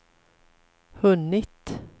hunnit